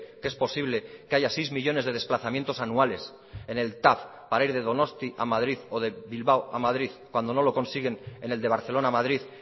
que es posible que haya seis millónes de desplazamientos anuales en el tav para ir de donosti a madrid o de bilbao a madrid cuando no lo consiguen en el de barcelona madrid